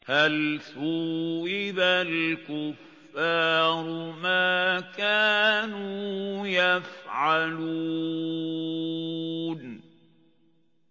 هَلْ ثُوِّبَ الْكُفَّارُ مَا كَانُوا يَفْعَلُونَ